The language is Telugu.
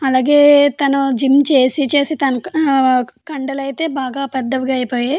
అలాగే తను జిమ్ చేసి చేసి కండలు అయితే బాగ పెద్దవిగా అయిపోయాయ్ --